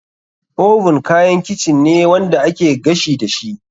Oven kayan kicin ne wanda ake gashi dashi.